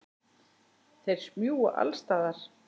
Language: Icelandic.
Þeir smjúga alls staðar.